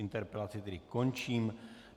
Interpelaci tedy končím.